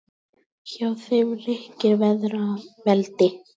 Hjá þeim ríkir feðraveldi.